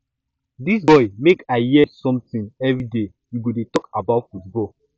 dis boy make i hear something everyday you go dey talk about football